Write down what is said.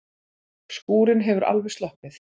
Skúrinn hefur alveg sloppið?